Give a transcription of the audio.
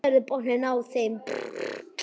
Sérðu botninn á þeim.